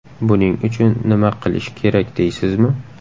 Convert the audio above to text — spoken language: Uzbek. Buning uchun nima qilish kerak deysizmi?